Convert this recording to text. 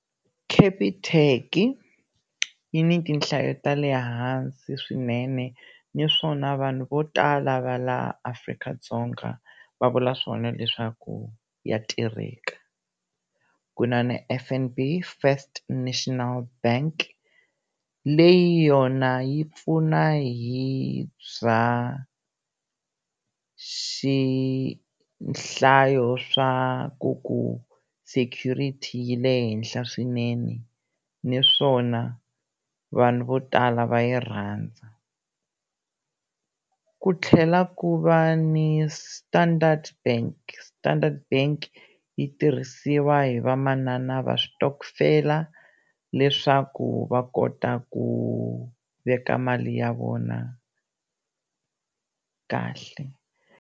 Capitec yi ni tihlayo ta le hansi swinene naswona vanhu vo tala va laha Afrika-Dzonga va vula swona leswaku ya tirheka ku na ni F_N_B First National Bank leyi yona yi pfuna hi bya nhlayo swa ku ku security yi le henhla swinene naswona vanhu vo tala va yi rhandza ku tlhela ku va ni Standard Bank Standard Bank yi tirhisiwa hi vamanana va switokofela leswaku va kota ku veka mali ya vona kahle.